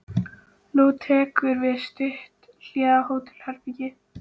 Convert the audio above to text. Nú tekur við stutt hlé á hótelherbergi.